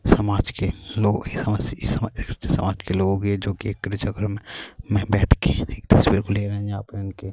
سماج کے لوگ ایک جگہ مے بیٹھکے تصویر لے رہی ہیں-